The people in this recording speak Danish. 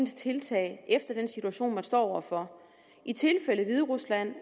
tiltag efter den situation man står over for i tilfældet hviderusland